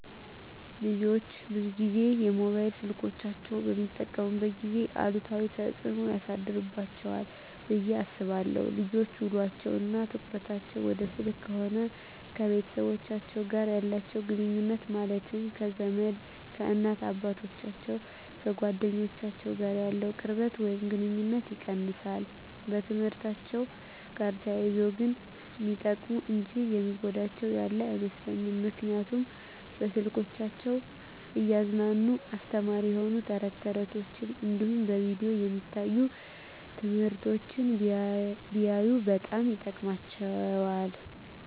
ልጆች ብዙን ጊዜ ሞባይል ስልኮችን በሚጠቀሙበት ጊዜ አሉታዊ ተፅዕኖ ያሳድርባቸዋል ብየ አስባለው ልጆች ውሎቸው እና ትኩረታቸውን ወደ ስልክ ከሆነ ከቤተሰቦቻቸው ጋር ያላቸውን ግኑኙነት ማለትም ከዘመድ፣ ከእናት አባቶቻቸው፣ ከጓደኞቻቸው ጋር ያለውን ቅርበት ወይም ግኑኝነት ይቀንሳል። በትምህርትአቸው ጋር ተያይዞ ግን ሚጠቀሙ እንጂ የሚጎዳቸው ያለ አይመስለኝም ምክንያቱም በስልኮቻቸው እያዝናና አስተማሪ የሆኑ ተረት ተረቶች እንዲሁም በቪዲዮ የሚታዩ ትምህርቶችን ቢያዩ በጣም ይጠቅማቸዋል።